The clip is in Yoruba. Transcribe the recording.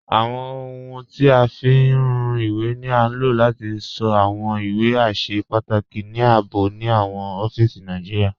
Awọn ọhuń tí a fi ń rùn iwé ni á lò láti sọ́ awọn iwé àṣẹ̀ pàtàkì ní ààbò ni awọn ọ̀fíìsí Nàìjíríà.